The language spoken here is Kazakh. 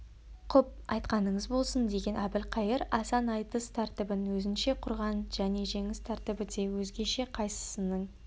құп айтқаныңыз болсын деген әбілқайыр асан айтыс тәртібін өзінше құрған және жеңіс тәртібі де өзгеше қайсысының